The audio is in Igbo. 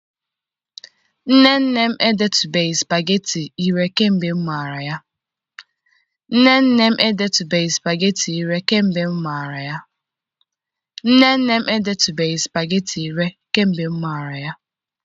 Nne nne m edetubeghị spageti ire kemgbe m mara ya.